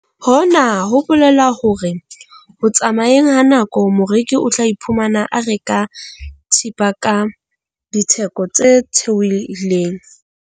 Hona ho bolela hore ho tsamayeng ha nako moreki o tla iphumana a reka thepa ka ditheko tse theohileng.